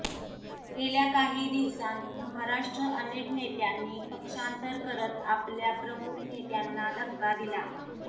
गेल्या काही दिवसांत महाराष्ट्रात अनेक नेत्यांनी पक्षांतर करत आपल्या प्रमुख नेत्यांना धक्का दिला